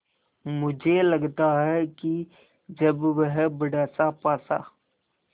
मुझे लगता है कि जब वह बड़ासा पासा